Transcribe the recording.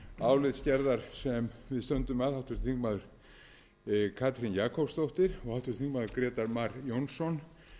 álitsgerðar sem við stöndum að háttvirtur þingmaður katrín jakobsdóttir og háttvirtir þingmenn grétar mar jónsson